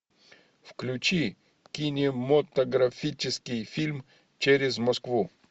включи кинематографический фильм через москву